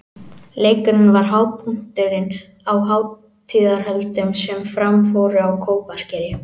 Leikurinn var hápunkturinn á hátíðarhöldum sem fram fóru á Kópaskeri.